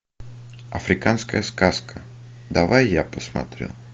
африканская сказка давай я посмотрю